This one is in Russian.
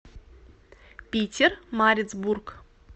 питермарицбург